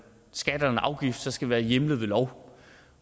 skat og en afgift skal det være hjemlet ved lov